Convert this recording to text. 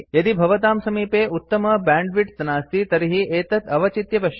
यदि भवतां समीपे उत्तमं बैण्डविड्थ नास्ति तर्हि एतत् अवचित्य पश्यतु